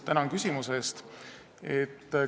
Tänan küsimuse eest!